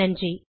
நன்றி